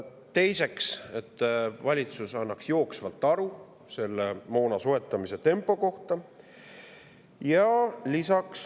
Teiseks tuleks valitsusel anda jooksvalt aru selle moona soetamise tempo kohta.